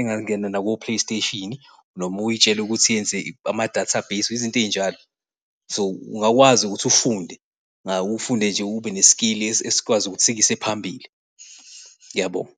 engangena nako-play station noma uy'tshele ukuthi yenze ama-database izinto ey'njalo. So, ungakwazi ukuthi ufunde, ufunde nje, ube ne-skill esikwazi ukuthi sikuyise phambili. Ngiyabonga.